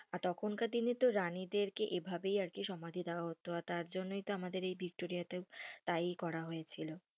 আর তখন কার দিনে তো রানীদের কে এভাবেই আরকি সমাধি দেওয়া হতো আর তার জনই তো আমাদের ভিক্টোরিয়াতে এই তাই করা হয়েছিল,